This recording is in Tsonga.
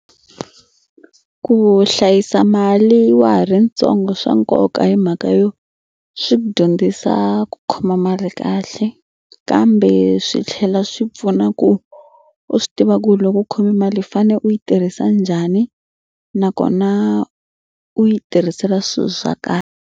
Ku hlayisa mali wa ha ri ntsongo swa nkoka hi mhaka yo swi ku dyondzisa ku khoma mali kahle kambe swi tlhela swi pfuna ku u swi tiva ku ri loko u khome mali u fane u yi tirhisa njhani nakona u yi tirhisela swilo swa .